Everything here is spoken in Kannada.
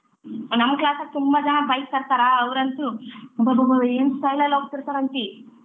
ನಮ್ class ಅಲ್ಲಿ ತುಂಬ ಜನ bike ತರ್ತಾರ ಅವರಂತು ಅಬ್ಬಬಾ ಏನ್ style ಅಲ್ಲಿ ಹೋಗ್ತಿರ್ತರಂತಿ.